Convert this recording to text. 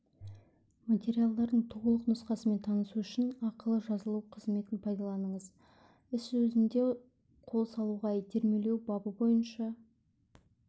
материалдардың толық нұсқасымен танысу үшін ақылы жазылу қызметін пайдаланыңыз іс өзіне қол салуға итермелеу бабы бойынша